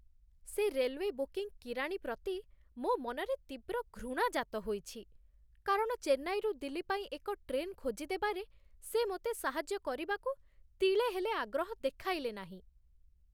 ସେ railway booking କିରାଣୀ ପ୍ରତି ମୋ ମନରେ ତୀବ୍ର ଘୃଣା ଜାତ ହୋଇଛି, କାରଣ ଚେନ୍ନାଇରୁ ଦିଲ୍ଲୀ ପାଇଁ ଏକ ଟ୍ରେନ୍ ଖୋଜିଦେବାରେ ସେ ମୋତେ ସାହାଯ୍ୟ କରିବାକୁ ତିଳେ ହେଲେ ଆଗ୍ରହ ଦେଖାଇଲେ ନାହିଁ।